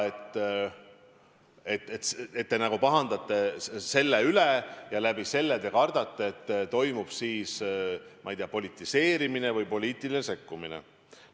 Te nagu pahandate selle üle ja te kardate, et toimub, ma ei tea, politiseerimine või poliitiline sekkumine.